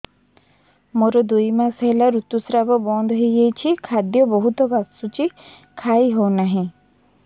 ମୋର ଦୁଇ ମାସ ହେଲା ଋତୁ ସ୍ରାବ ବନ୍ଦ ହେଇଯାଇଛି ଖାଦ୍ୟ ବହୁତ ବାସୁଛି ଖାଇ ହଉ ନାହିଁ